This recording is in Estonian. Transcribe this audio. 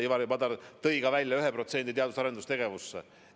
Ivari Padar tõi ka välja, et me panustame 1% SKP-st teadus- ja arendustegevusse.